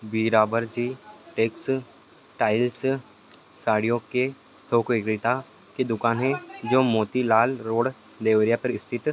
Birabarji textiles साड़ियों के थोक विक्रेता की दुकान है जो मोती लाल रोड देवारिया पर स्थित --